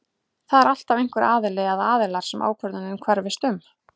Það er alltaf einhver aðili eða aðilar sem ákvörðunin hverfist um.